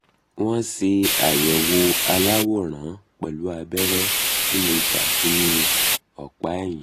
wọ́n ṣe àyẹ̀wò aláwòrán pẹ̀lú abẹ́rẹ́ tí mo gbà sínú ọ̀pá ẹ̀yìn